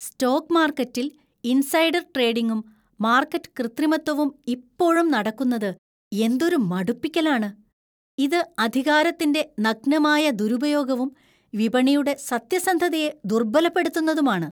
Stock മാർക്കറ്റിൽ insider ട്രേഡിംഗും market കൃത്രിമത്വവും ഇപ്പോഴും നടക്കുന്നത് എന്തൊരു മടുപ്പിക്കലാണ്. ഇത് അധികാരത്തിന്‍റെ നഗ്നമായ ദുരുപയോഗവും വിപണിയുടെ സത്യസന്ധതയെ ദുർബലപ്പെടുത്തുന്നതുമാണ്.